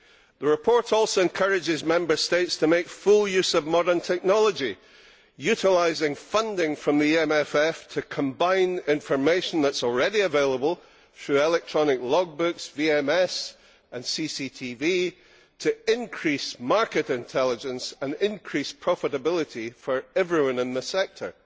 The report also encourages Member States to make full use of modern technology, utilising funding from the European Maritime and Fisheries Fund to combine information that is already available through electronic logbooks, VMS and CCTV to increase market intelligence and increase profitability for everyone in the sector.